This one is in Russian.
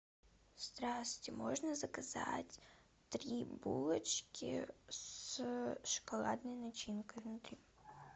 здрасьте можно заказать три булочки с шоколадной начинкой внутри